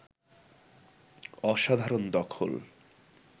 অসাধারণ দখল